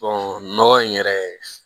nɔgɔ in yɛrɛ